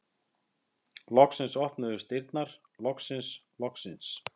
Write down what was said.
Loksins opnuðust dyrnar, loksins, loksins!